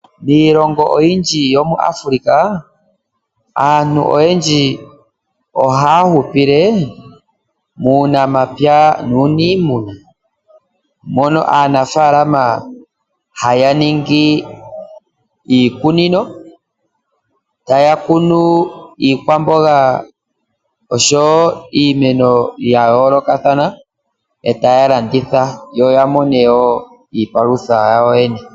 Miilongo oyindji yomuAfrika, aantu oyendji ohaya hupile muunamapya nuunimuna, mono aanafaalama haya ningi iikunino, taya kunu iikwamboga oshowo iimeno ya yoolokathana, e taya landitha, yo ya mone wo iipalutha yawo yene.